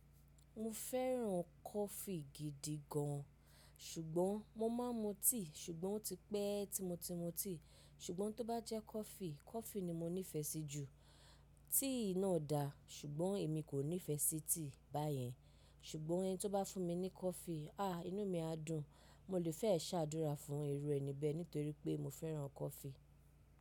Mo fẹ́ràn coffee gidi gan. Ṣùgbọ́n mo máa ń mu tea ṣùgbọ́n ó ti pẹ́ tí mo ti mu tea. Ṣùgbọ́n tó bá jẹ́ coffee, coffee ni mo nífẹ̀ẹ́ sí jù. Tea náà dà ṣùgbọ́n èmi kò nífẹ̀ẹ́ sí tea báyẹn. Ṣùgbọ́n ẹni tó bá fún mi ní coffee, ah inú mi á dùn. Mo lè fẹ́ ṣàdúrà fún irú ẹni bẹ́ẹ̀ nítorí pé mo fẹ́ràn coffee.